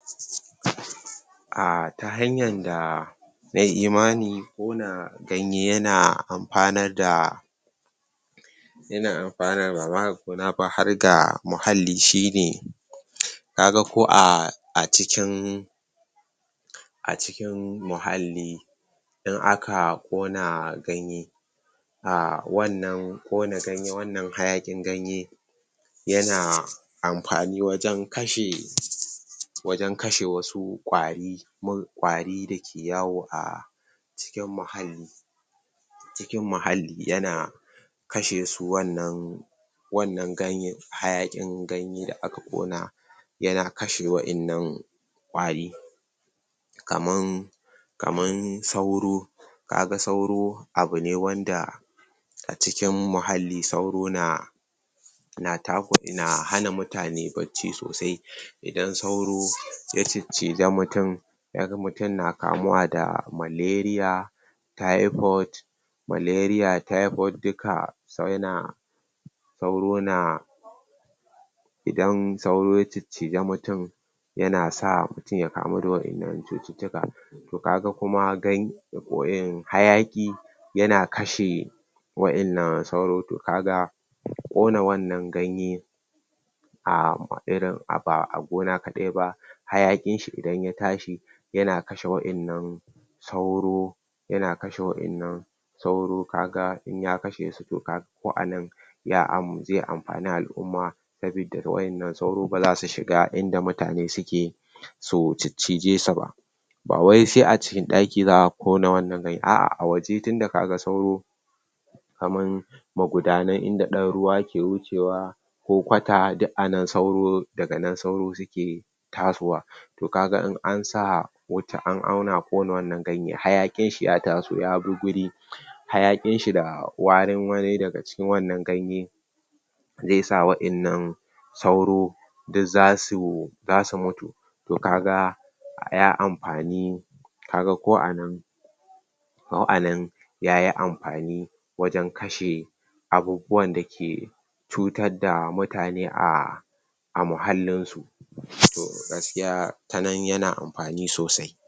ah ta hanyan da nayi imani kona ganye yana anfanar da yana anfanarwa, bama ga, gona ba, har ga mulalli shine ka ga ko aa a cikin a cikin muhalli in aka kona ganye ah wan nan kona ganye, wan nan, hayakin ganye, yana anfani wajen kashe wajen kashe, wasu kwari kwari dake yawo ah cikin muhalli cikin muhalli, yana kashesu wannan wan nan ganyen hayakin ganye, da aka kona yana kashe wayan nan kwari kaman kaman sauro kaga sauro abu ne wanda acikin muhalli sauro naa na takura na hana mutane bacci sosai i dan sauro ya cicciji mutun mutun na kamuwa da maleria taipot maleria, taipot duka sauro na sauro na idan sauro ya cicciji, mutun ya na sa mutun ya kamu da wayan nan cutittika mutun ya kamu da wayan nan cutittika ka ga kuma, ganye ah hayaki yana kashe wayan nan sauro, to kaga kona wannan ganye ah irin ba a gona kadai ba hayakin shi idan ya tashi yana kashe wayan nan sauro yana kashe wayan sauro ka ga in ya kashe su, to ka ga ko anan ya am zai anfani al'umma sabi da wayan nan sauro ba za su shiga in da mutane suke su cicjijesuba bawai sai a cikin daki, zaa kona wayan nan ganyen ba a a waje, tunda ka ga sauro kaman maguda nan inda dan ruwa yake hucewa ko kwata duk a nan sauro da ga nan sauro suke tasowa to ka ga in an sa an au na kona wan nan ganyen hayakin shi ya ta so ya bi guri hayakin shi da warin wani da ga wan nan ganye zai sa wa yan nan sauro duk za su za su mutu to ka ga ya amafani ka ga ko anan ko a nan yayi amfani wajen kashe abubuwan da ke cutar da mutane a muhallin su to gaskiya ta nan yana amfani sosai